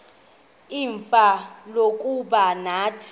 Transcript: ixfsha lokuba nathi